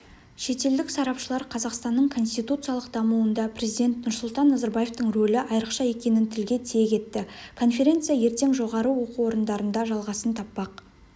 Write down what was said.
шетелдік сарапшылар қазақстанның конституциялық дамуында перзидент нұрсұлтан назарбаевтың ролі айрықша екенін тілге тиек етті конференция ертең жоғары оқу орындарында жалғасын таппақ